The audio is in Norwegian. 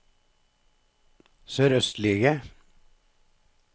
sørøstlige